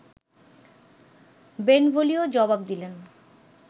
Benvolio জবাব দিলেন